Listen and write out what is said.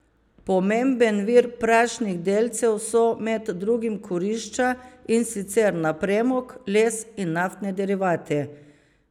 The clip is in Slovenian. Pomemben vir prašnih delcev so med drugim kurišča, in sicer na premog, les in naftne derivate.